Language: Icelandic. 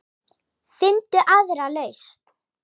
Finndu aðra lausn.